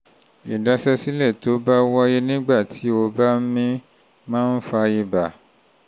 ìdaṣẹ́sílẹ̀ tó bá wáyé nígbà tí tí o bá ń mí máa ń fa ibà